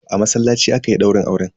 A masallaci aka yi daurin auren.